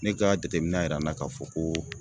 Ne ka jateminɛ y'a yira na k'a fɔ ko